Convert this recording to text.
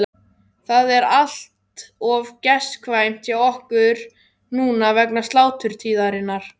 Það er allt of gestkvæmt hjá okkur núna vegna sláturtíðarinnar.